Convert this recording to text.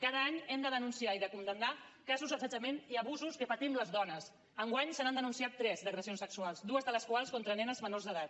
cada any hem de denunciar i de condemnar casos d’assetjament i abusos que patim les dones enguany se n’han denunciat tres d’agressions sexuals dues de les quals contra nenes menors d’edat